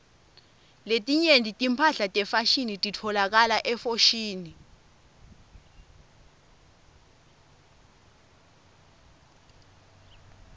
letinye timphahla tefashini titfolakala efoshini